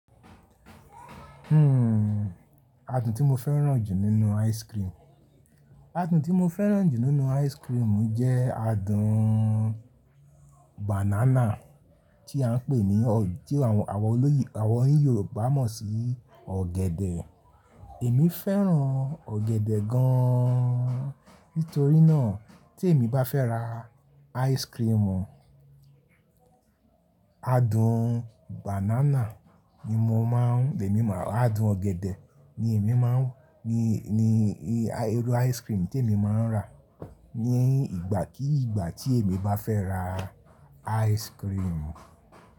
Hmm adùn tí mo fẹ́ràn jù nínú ice cream. Adùn tí mo fẹ́ràn jù nínú ice cream jẹ́ adùn banana tí à ń pè ní o, tí àwọn, àwọn olóyì, àwọn Yorùbá mọ̀ sí ọ̀gẹ̀dẹ̀. Èmi fẹ́ràn ọ̀gẹ̀dẹ̀ gan. Nítorí náà tí èmi bá fẹ́ ra ice cream, adùn ọ̀gẹ̀dẹ̀ ńí irú ice cream tí èmi máa ń rà. Ni ìgbà kí ìgbà tí èmi bá fẹ́ ra ice cream.